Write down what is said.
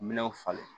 Minɛnw falen